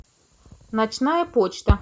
ночная почта